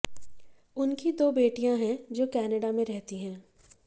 उनकी दो बेटीयां है जो कनाडा में रहती हैं